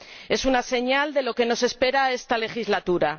Es una señal de lo que nos espera esta legislatura.